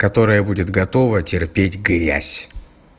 которая будет готова терпеть грязь